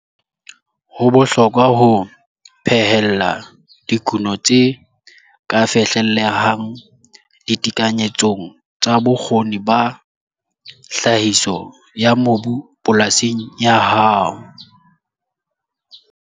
Ho bohlokwa ho phehella dikuno tse ka fihlellehang ditekanyetsong tsa bokgoni ba tlhahiso ya mobu polasing ya hao.